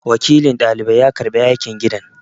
Wakilin dalibai ya karɓi aikin gidan